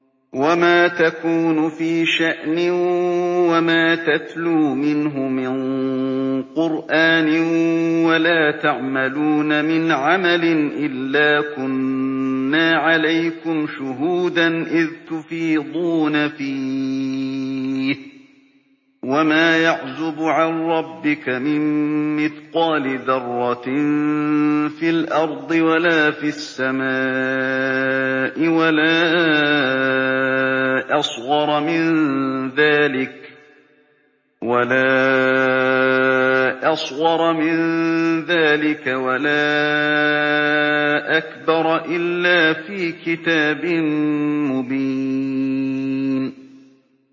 وَمَا تَكُونُ فِي شَأْنٍ وَمَا تَتْلُو مِنْهُ مِن قُرْآنٍ وَلَا تَعْمَلُونَ مِنْ عَمَلٍ إِلَّا كُنَّا عَلَيْكُمْ شُهُودًا إِذْ تُفِيضُونَ فِيهِ ۚ وَمَا يَعْزُبُ عَن رَّبِّكَ مِن مِّثْقَالِ ذَرَّةٍ فِي الْأَرْضِ وَلَا فِي السَّمَاءِ وَلَا أَصْغَرَ مِن ذَٰلِكَ وَلَا أَكْبَرَ إِلَّا فِي كِتَابٍ مُّبِينٍ